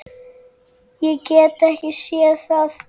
Ég get ekki séð það.